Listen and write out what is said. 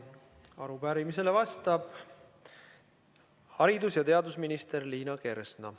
Arupärimisele vastab haridus- ja teadusminister Liina Kersna.